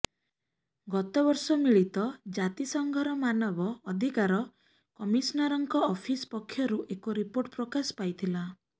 ଗତ ବର୍ଷ ମିଳିତ ଜାତିସଂଘର ମାନବ ଅଧିକାର କମିଶନରଙ୍କ ଅଫିସ ପକ୍ଷରୁ ଏକ ରିପୋର୍ଟ ପ୍ରକାଶ ପାଇଥିଲା